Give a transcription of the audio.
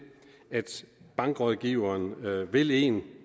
at bankrådgiveren vil en